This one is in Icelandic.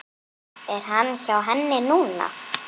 Er hann hjá henni núna?